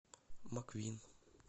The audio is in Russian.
маквин